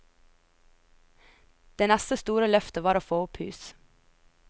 Det neste store løftet var å få opp hus.